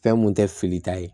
Fɛn mun tɛ fili ta ye